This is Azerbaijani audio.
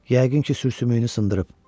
Yəqin ki, sümüyünü sındırıb.